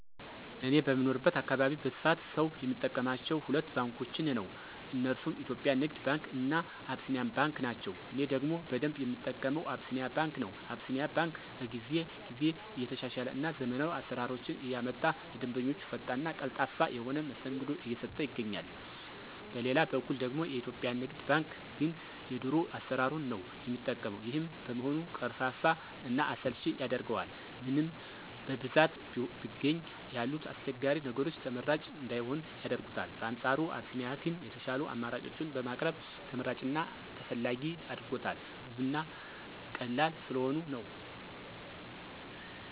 እኔ በምኖርበት አካባቢ በስፋት ሰው የሚጠቀማቸው ሁለት ባንኮችን ነው። እነርሱም የኢትዮጵያ ንግድ ባንክ እና አቢሲኒያ ባንክ ናቸው። እኔ ደግሞ በደንብ የምጠቀመው አቢሲኒያ ባንክ ነው። አቢሲኒያ ባንክ ከጊዜ ጊዜ እየተሻሻለ እና ዘመናዊ አሰራሮችን እያመጣ ለደንበኞቹ ፈጣን እና ቀልጣፋ የሆነ መስተንግዶ እየሰጠ ይገኛል። በሌላ በኩል ደግሞ የኢትዮጵያ ንግድ ባንክ ግን የድሮ አሰራሩን ነው የሚጠቀው። ይሄም በመሆኑ ቀርፋፋ እና አሰልቺ ያደርገዋል። ምንም በብዛት ቢገኝ ያሉት አስቸጋሪ ነገሮች ተመራጭ እንዳይሆን ያደርጉታል። በአንፃሩ አቢሲኒያ ግን የሻሉ አማራጮችን በማቅረብ ተመራጭ እና ተፈላጊ አድርጎታል። ብዙ እና ቀላል ስለሆኑ ነው።